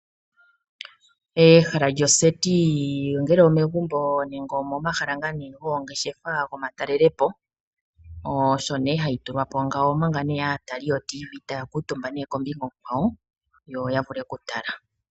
Ehala lyoseti ongele omegumbo nenge omomahala goongeshefa gomatalelopo, osho hayi tulwa po ngawo, omanga aatali yotiivii taya kuutumba kombinga onkwawo yo ya vule okutala.